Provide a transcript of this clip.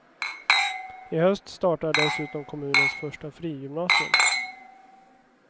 I höst startar dessutom kommunens första frigymnasium.